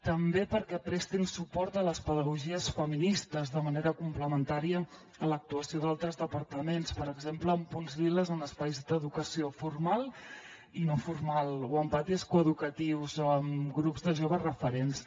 també perquè prestin suport a les pedagogies feministes de manera complementària a l’actuació d’altres departaments per exemple amb punts lila en espais d’educació formal i no formal o amb patis coeducatius o amb grups de joves referents